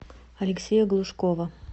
алексея глушкова